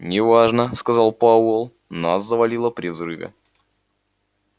не важно сказал пауэлл нас завалило при взрыве